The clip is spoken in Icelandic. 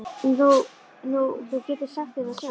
Nú, þú getur sagt þér það sjálf.